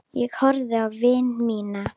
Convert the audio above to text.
Ég horfði á vini mína.